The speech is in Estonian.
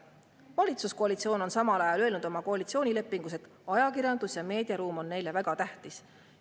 Valitsuskoalitsioon on samal ajal öelnud oma koalitsioonilepingus, et ajakirjandus ja meediaruum on neile väga tähtis.